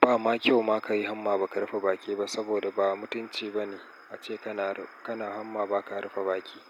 ba ma kyau ma ka yi hamma ba ka rufe baki ba saboda ba mutunci ba ne ace kana hamma ba ka rufe baƙi.